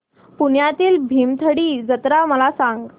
पुण्यातील भीमथडी जत्रा मला सांग